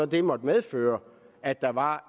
det måtte medføre at der var